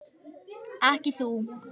Ekki þú.